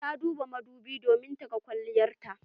Ta duba madobin domin ta ga kwalliyar ta.